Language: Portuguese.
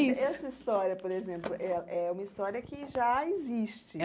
isso Essa história, por exemplo, é é uma história que já existe.